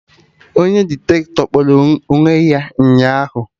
Onye Diktatọ kpọrọ onwe ya ụnyaahụ